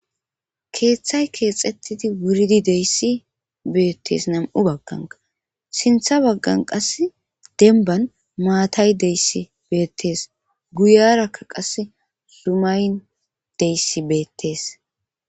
keeththay keexxettidi wuridi deyssi beettes nam7u bagganka sintha baggan qas denban maatay deyssi beettees guyarakka qase sumayn deyssi beettes